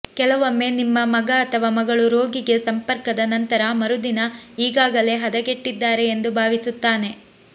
ಕೆಲವೊಮ್ಮೆ ನಿಮ್ಮ ಮಗ ಅಥವಾ ಮಗಳು ರೋಗಿಗೆ ಸಂಪರ್ಕದ ನಂತರ ಮರುದಿನ ಈಗಾಗಲೇ ಹದಗೆಟ್ಟಿದ್ದಾರೆ ಎಂದು ಭಾವಿಸುತ್ತಾನೆ